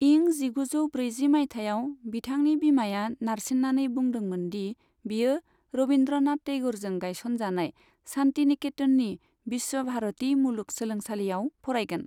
इं जिगुजौ ब्रैजि माइथायाव, बिथांनि बिमाया नारसिन्नानै बुंदोंमोन दि बियो रबिन्द्रनाथ टैग'रजों गायसनजानाय शान्तिनिकेतननि विश्व भारती मुलुग सोलोंसालियाव फरायगोन।